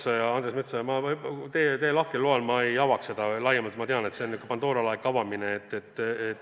Hea Andres Metsoja, teie lahkel loal ma jätan selle laiemalt avamata – ma tean, et see oleks Pandora laeka avamine.